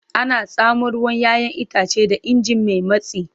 Ana tsamo ruwan 'ya'yan itace da ingin mai matsi.